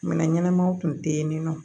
Minɛn ɲɛnamaw tun tɛ yen nɔ